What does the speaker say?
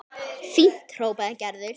Fínt hrópaði Gerður.